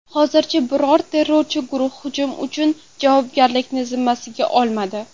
Hozircha biror terrorchi guruh hujum uchun javobgarlikni zimmasiga olmadi.